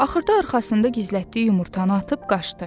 Axırda arxasında gizlətdiyi yumurtanı atıb qaçdı.